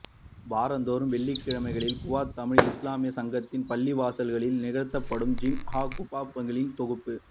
வாரந்தோறும் வெள்ளிக்கிழமைகளில் குவைத் தமிழ் இஸ்லாமியச் சங்கத்தின் பள்ளிவாசலில் நிகழ்த்தப்படும் ஜும்ஆ ஃகுத்பாக்களின் தொகுப்பு